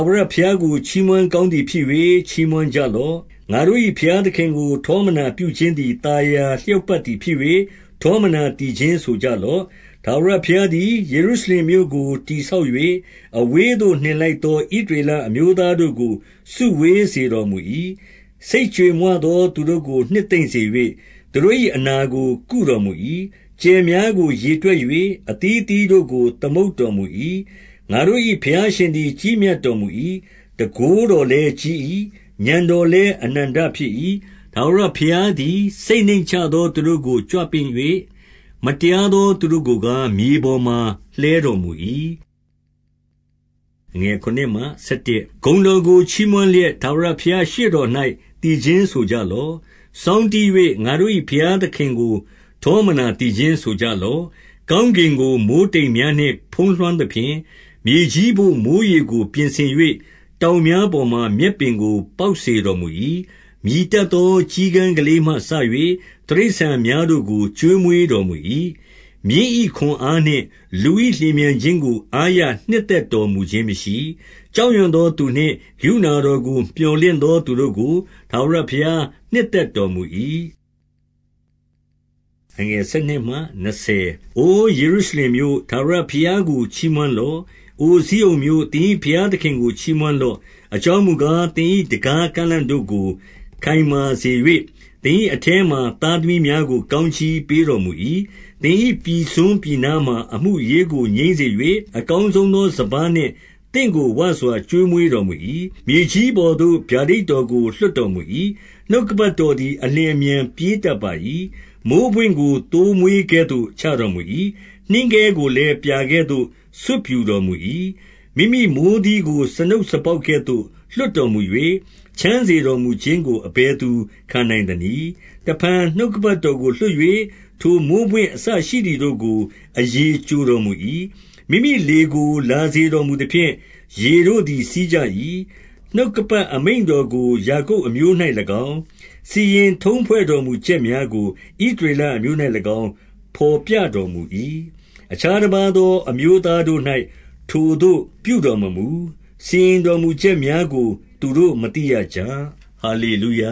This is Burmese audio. ဝရဘုရားကို ချီးမွမ်းကောင်းသည်ဖြစ်၍၊ ချီးမွမ်းကြလော့။ ငါတို့၏ဘုရားသခင်ကို ထောမနာပြု ခြင်းသည် သာယာလျောက်ပတ်သည် ဖြစ်၍၊ ထောမနာ သီချင်းဆိုကြလော့။ ထာဝရဘုရားသည် ယေရုရှလင်မြို့ကို တည် ဆောက်၍၊ အဝေးသို့နှင်လိုက်သော ဣသရေလအမျိုး သားတို့ကို စုဝေးစေတော်မူ၏။ စိတ်ကြေမွသောသူတို့ကို နှစ်သိမ့်စေ၍၊ သူတို့၏ အနာကို ကုတော်မူ၏။ ကြယ်များကိုရေတွက်၍ အသီးအသီးတို့ကို သမုတ်တော်မူ၏။ ငါတို့၏ဘုရားရှင်သည် ကြီးမြတ်တော်မူ၏။ တန်ခိုးတော်လည်း ကြီး၏။ဥာဏ်တော်သည်အနန္တဖြစ်၏။ ထာဝရဘုရားသည် စိတ်နှိမ့်ချသော သူတို့ကို ကြွပင့်၍၊ မတရားသော သူတို့ကိုကား၊ မြေပေါ်မှာ လှဲတော်မူ၏။ ဂုဏ်တော်ကိုချီးမွမ်းလျက် ထာဝရဘုရား ရှေ့တော်၌ သီချင်းဆိုကြလော့။ စောင်းတီး၍၊ ငါတို့၏ ဘုရားသခင်ကို ထောမနာသီချင်းဆိုကြလော့။ ကောင်းကင်ကို မိုဃ်းတိမ်များနှင့် ဖုံးလွှမ်းသဖြင့်၊ မြေကြီးဘို့ မိုဃ်းရေကိုပြင်ဆင်၍၊ တောင်များပေါ်မှာ မြက်ပင်ကိုပေါက်စေတော်မူ၏။ မြည်တတ်သော ကျီးကန်းကလေးမှစ၍၊ တိရစ္ဆာန်များတို့ကို ကျွေးမွေးတော်မူ၏။ မြင်း၏ခွန်အားနှင့်လူ၏လျင်မြန်ခြင်းကို အားရ နှစ်သက်တော်မူခြင်းမရှိ။ ကြောက်ရွံ့သောသူနှင့် ကရုဏတော်ကို မြော်လင့်သော သူတို့ကို ထာဝရဘုရား နှစ်သက်တော် မူ၏။ အိုယေရုရှလင်မြို့၊ ထာဝရဘုရားကို ချီးမွမ်း လော့။ အိုဇိအုန်မြို့၊ သင်၏ဘုရားသခင်ကို ချီးမွမ်းလော့။ အကြောင်းမူကား၊ သင်၏တံခါးကန့်လန့်တို့ကို ခိုင်မာစေ၍၊ သင်၏အထဲမှာ သားသမီးများကို ကောင်း ကြီးပေးတော်မူ၏။ သင်၏ပြည်စွန်းပြည်နားမှာ အမှုအရေးကို ငြိမ်း စေ၍၊ အကောင်းဆုံးသော စပါးနှင့် သင့်ကို ဝစွာ ကျွေးမွေးတော်မူ၏။ မြေကြီးပေါ်သို့ဗျာဒိတ်တော်ကို လွှတ်တော်မူ၏။ နှုတ်ကပတ်တော်သည် အလျင်အမြန်ပြေးတတ်ပါ၏။ မိုဃ်းပွင့်ကို သိုးမွေးကဲ့သို့ ချတော်မူ၏။ နှင်းခဲ ကိုလည်း ပြာကဲ့သို့ ဆွတ်ဖြူတော်မူ၏။ မိမိမိုဃ်းသီးကို စားနုတ်စားပေါက်ကဲ့သို့ လွှတ် တော်မူ၍၊ ချမ်းစေတော်မူခြင်းကို အဘယ်သူခံနိုင် သနည်း။ တဖန်နှုတ်ကပတ်တော်ကိုလွှတ်၍၊ ထိုမိုဃ်းပွင့် အစရှိသည်တို့ကို အရည်ကျိုတော်မူ၏။ မိမိလေကို လာစေတော်မူသဖြင့်၊ ရေတို့သည် စီးကြ၏။ နှုတ်ကပတ်အမိန့်တော်ကို ယာကုပ်အမျိုး၌၎င်း၊ စီရင်ထုံးဖွဲ့တော်မူချက်များကို ဣသရေလအမျိုး၌၎င်း ဘော်ပြတော်မူ၏။ အခြားတပါးသော အမျိုးသားတို့၌ ထိုသို့ပြုတော် မမူ။ စီရင်တော်မူချက်များကို သူတို့မသိရကြ။ ဟာလေ လုယ